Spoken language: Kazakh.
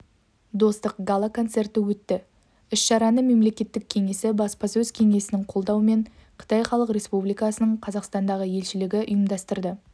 достық гала-концерті өтті іс-шараны мемлекеттік кеңесі баспасөз кеңсесінің қолдауымен қытай халық республикасының қазақстандағы елшілігі ұйымдастырды